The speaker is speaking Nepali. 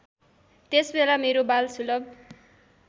त्यसबेला मेरो बालसुलभ